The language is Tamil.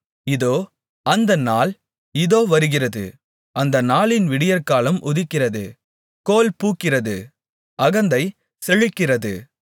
இதோ அந்த நாள் இதோ வருகிறது அந்த நாளின் விடியற்காலம் உதிக்கிறது கோல் பூக்கிறது அகந்தை செழிக்கிறது